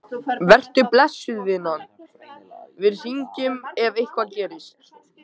Vertu blessuð, vinan, við hringjum ef eitthvað gerist.